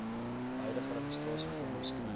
huidige registrasievorm beskryf